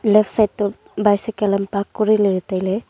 leftside toh bycycle am park kori ley tai ley.